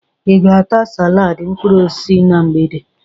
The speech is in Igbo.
I ga-ata salaadị mkpụrụosisi na mgbede?